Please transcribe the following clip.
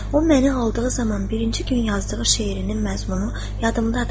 O məni aldığı zaman birinci gün yazdığı şeirinin məzmunu yadımdadır.